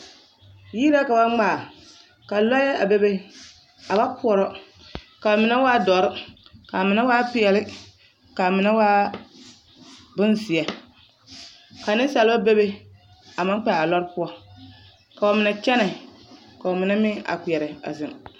Yiri la ka ba ŋmaa ka lɔɛ a bebe a ba poɔrɔ k'a mine waa dɔre k'a mine waa peɛle k'a mine waa bonzeɛ ka nensaalba bebe a meŋ kpɛ a lɔre poɔ k'o mine kyɛnɛ k'o mine meŋ a kpeɛrɛ a zeŋ.